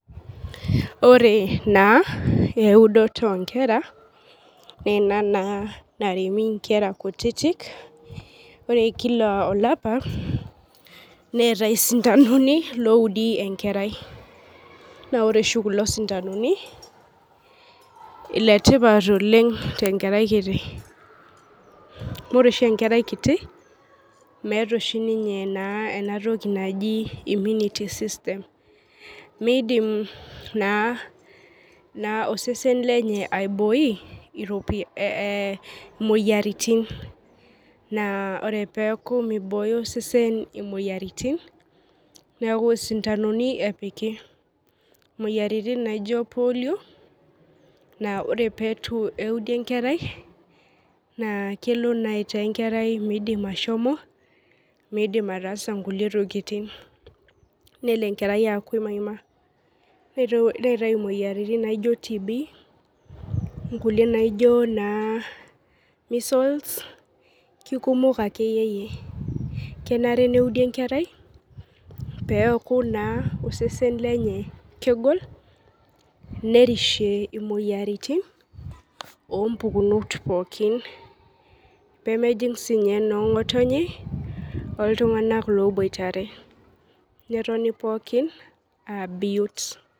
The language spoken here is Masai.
Ore na eudoto onkera ina na naremi nkera kutitik ore kila olapa neeatae sintanoni oudi enkerai na ore oshi kulo sindanoni letipat oleng tenkerai kiti ore oshi enkerai kiti meeta oshi ninye enatoki naji immunity system midim naa osesen lenye aibooi moyiaritin na ore peaku mibooyo osesen moyiaritin neaku sintanoni epiki moyiaritin naijo polio na ore pitueudi enkerai na kelo aitaa metaa midim ashomo midim araasa nkulie tokitin nelo enkerai aaku emaima, neetae moyiaritin naijo tb nkulie naino misles lekumok akeyie kenare neudi nkera peaku na osesen lenye kegol nerishe moyiaritin ompukunot pookin pemejing sininye nonngotonye oltunganak oboitare. netoki pookin abiot.